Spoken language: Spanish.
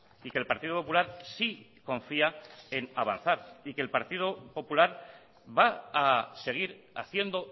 y que el partido popular sí confía en avanzar y que el partido popular va a seguir haciendo